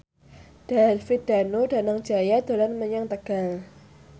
David Danu Danangjaya dolan menyang Tegal